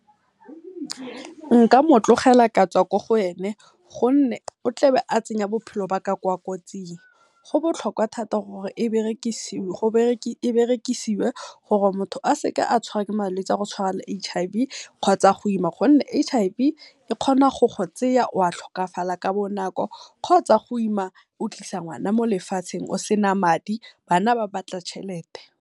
Nka motlogela ka tswa ko go ene gonne o tlebe a tsenya bophelo ba ka ko kotsing, go botlhokwa thata gore e berekisiwe gore motho a seke a tshwarwa ke malwetse a go tshwana le H_I_V kgotsa go ima. Gonne H_I_V e kgona go go tseya wa tlhokafala ka bonako kgotsa go ima o tlisa ngwana molefatsheng o sena madi bana ba batla tšhelete.